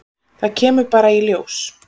Það kemur bara í ljós.